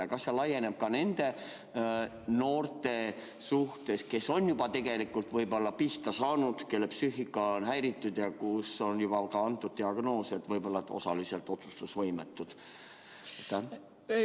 Ja kas see laieneb ka nendele noortele, kes on juba tegelikult pihta saanud, kelle psüühika on häiritud ja kellele on juba pandud selline diagnoos, et nad on osaliselt otsustusvõimetud?